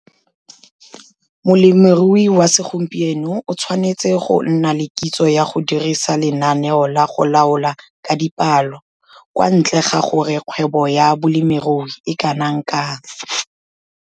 Molemirui wa segompieno o tshwanetse go nna le kitso ya go dirisa lenaneo la go laola ka dipalo, kwa ntle ga gore kgwebo ya bolemirui e kana kang.